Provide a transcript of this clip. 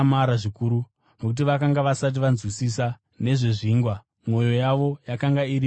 nokuti vakanga vasati vanzwisisa nezvezvingwa, mwoyo yavo yakanga iri mikukutu.